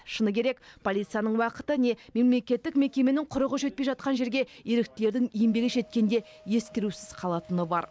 шыны керек полицияның уақыты не мемлекеттік мекеменің құрығы жетпей жатқан жерге еріктілердің еңбегі жеткенде ескерусіз қалатыны бар